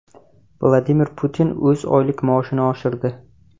Vladimir Putin o‘z oylik maoshini oshirdi.